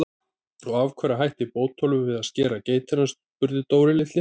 Og af hverju hætti Bótólfur við að skera geitina? spurði Dóri litli.